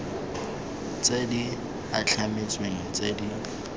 tse di itlhametsweng tse di